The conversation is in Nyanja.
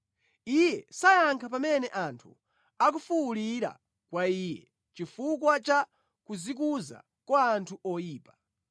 Iye sayankha pamene anthu akufuwulira kwa Iye chifukwa cha kudzikuza kwa anthu oyipa.